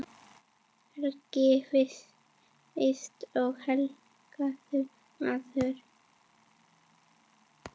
Helgi víst er helgur maður.